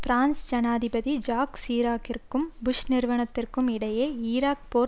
France ஜனாதிபதி Jacques சிராக்கிற்கும் Bush நிர்வாகத்திற்கும் இடையே ஈராக் போர்